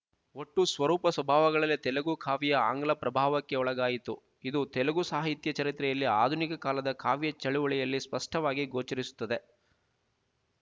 ಒಟ್ಟು ಸ್ವರೂಪ ಸ್ವಭಾವಗಳಲ್ಲೇ ತೆಲುಗು ಕಾವ್ಯ ಆಂಗ್ಲ ಪ್ರಭಾವಕ್ಕೆ ಒಳಗಾಯಿತು ಇದು ತೆಲುಗು ಸಾಹಿತ್ಯ ಚರಿತ್ರೆಯಲ್ಲಿ ಆಧುನಿಕ ಕಾಲದ ಕಾವ್ಯ ಚಳವಳಿಯಲ್ಲಿ ಸ್ಪಷ್ಟವಾಗಿ ಗೋಚರಿಸುತ್ತದೆ